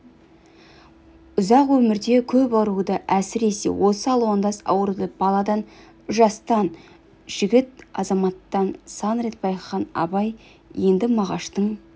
ұзақ өмірде көп ауруды әсіресе осы алуандас ауруды баладан жастан жігіт азаматтан сан рет байқаған абай енді мағаштың